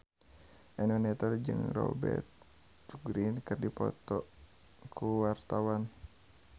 Eno Netral jeung Rupert Grin keur dipoto ku wartawan